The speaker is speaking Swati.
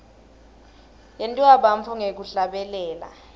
yentiwa bantfu ngekuhlabelela